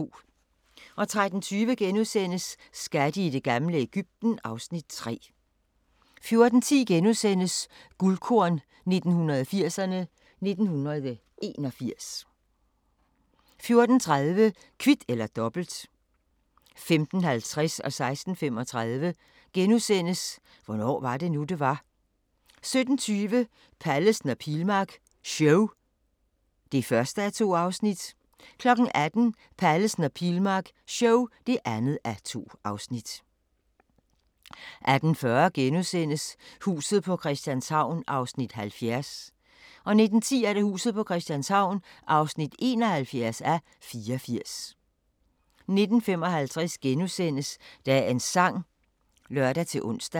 13:20: Skatte i det gamle Egypten (Afs. 3)* 14:10: Guldkorn 1980'erne: 1981 * 14:30: Kvit eller Dobbelt 15:50: Hvornår var det nu, det var? * 16:35: Hvornår var det nu, det var? * 17:20: Pallesen og Pilmark show (1:2) 18:00: Pallesen og Pilmark show (2:2) 18:40: Huset på Christianshavn (70:84)* 19:10: Huset på Christianshavn (71:84) 19:55: Dagens sang *(lør-ons)